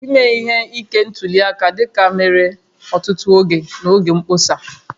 Ime ihe ike ntuli aka dịka mere ọtụtụ oge n'oge mkpọsa